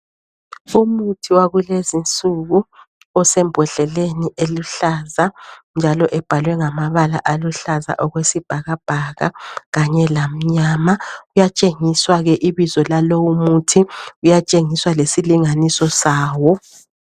Umuthi wakulezi insuku osembodleleni eluhlaza, njalo ebhalwe ngamabala aluhlaza okwesibhakabhaka kanye lamnyama. Kuyatshengiswa ke ibizo lalo muthi, kuyatshengiswa lesilinganiso sawo.